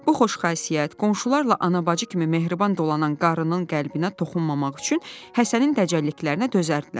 Bu xoş xasiyyət, qonşularla ana-bacı kimi mehriban dolanan qarının qəlbinə toxunmamaq üçün Həsənin dəcəlliklərinə dözərdilər.